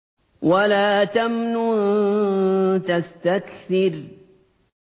وَلَا تَمْنُن تَسْتَكْثِرُ